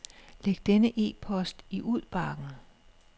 Læg denne e-post i udbakken.